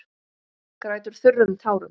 Grætur þurrum tárum.